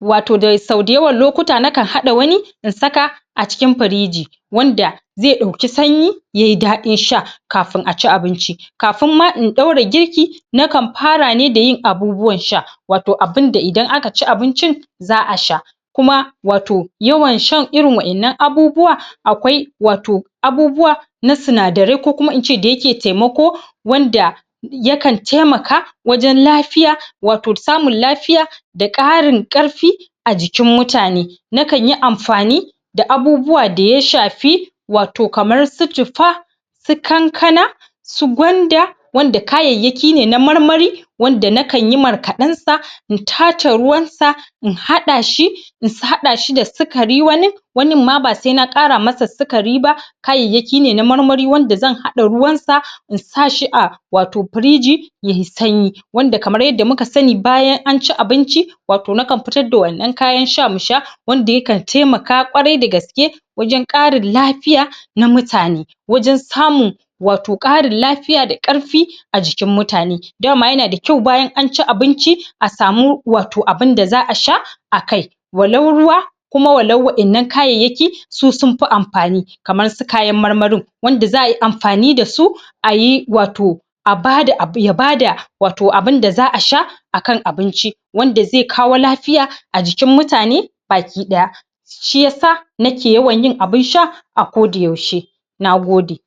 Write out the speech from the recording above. wato da sau da yawan lokuta nakan hada wani in saka a cikin piriji wanda ze dauki sanyi yayi daɗin sha kafin aci abinci, kafin ma in daura girki nakan fara ne ma dayin abubuwan sha wato abinda idan aka ci abincin za'a sha kuma wato yawan shan irin wa'innan abubuwa akwai wato abubuwa na sinadarai ko kuma ince da yake taimako wanda yakan taimaka wajan lafiya wato samun lafiya da ƙarin ƙarfi a jikin mutane, na kanyi amfani da abubuwa daya shafi wato kamar su citta, su kankana, su gwanda wanda kaayayyaki ne na marmari wanda na kanyi markaɗan sa in taace ruwan sa in hada shi in hada shi da sikari wani, wanin ma ba sena kara masa sikari ba kaayayyaki ne na marmari wanda zan hada ruwan sa in sashi a wato firiji yayi sanyi wanda kamar yadda muka sani bayan anci abinci wato nakan fitar da wannan kayan sha musha wanda yakan taimaka ƙwarai da gaske wajan ƙarin lafiya na mutane wajan samun wato ƙarin lafiya da ƙarfi a jikin mutane dama yana da ƙyau bayan anci abinci a samu wato abinda za'a sha akai, walau ruwa kuma walau wa'ainnan kaayayyaki su sunfi amfani kamar su kayan marmarin wanda za'a amfani dashi ayi wato a bada abu ya bada wato abinda za'a sha akan abinci wanda zai kawo lafiya a jikin mutane baki daya, shiyasa nake yawan yin abin sha a koda yaushe, nagode.